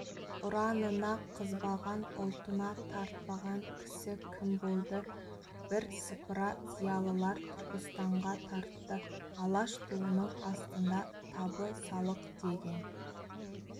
ұранына қызбаған ұлтына тартпаған кісі кім болды бірсыпыра зиялылар түркістанға тартты алаш туының астында табысалық деген